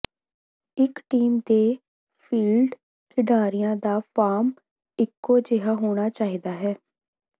ਇਕ ਟੀਮ ਦੇ ਫੀਲਡ ਖਿਡਾਰੀਆਂ ਦਾ ਫਾਰਮ ਇਕੋ ਜਿਹਾ ਹੋਣਾ ਚਾਹੀਦਾ ਹੈ